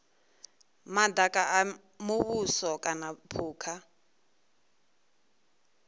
madaka a muvhuso kana phukha